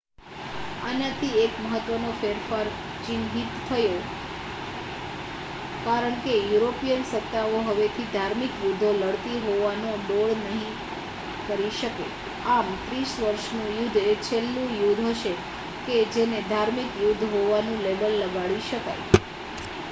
આનાથી એક મહત્ત્વનો ફેરફાર ચિહ્નિત થયો કારણ કે યુરોપિયન સત્તાઓ હવેથી ધાર્મિક યુદ્ધો લડતી હોવાનો ડોળ નહીં કરી શકે આમ ત્રીસ વર્ષનું યુદ્ધ એ છેલ્લું યુદ્ધ હશે કે જેને ધાર્મિક યુદ્ધ હોવાનું લેબલ લગાડી શકાય